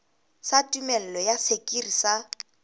sa tumello ya sekiri sa